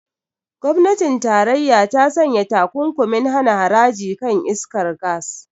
Gwamnatin tarayya ta sanya takunkumin hana haraji kan iskar gas.